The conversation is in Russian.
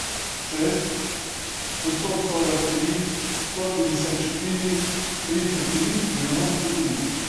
шесть шестьсот сорок три сто пятьдесят четыре тридцать три девяносто три